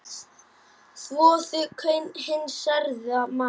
Þvoðu kaun hins særða manns.